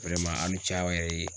a' ni ce aw yɛrɛ ye.